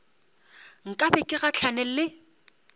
nka be ke gahlane le